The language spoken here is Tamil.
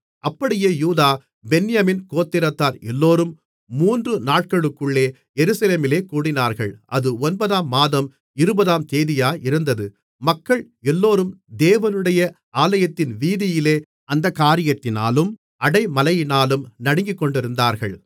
அப்படியே யூதா பென்யமீன் கோத்திரத்தார் எல்லோரும் மூன்று நாட்களுக்குள்ளே எருசலேமிலே கூடினார்கள் அது ஒன்பதாம் மாதம் இருபதாம் தேதியாயிருந்தது மக்கள் எல்லோரும் தேவனுடைய ஆலயத்தின் வீதியிலே அந்தக் காரியத்தினாலும் அடைமழையினாலும் நடுங்கிக்கொண்டிருந்தார்கள்